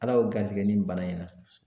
Ala y'o garisɛgɛ nin bana in na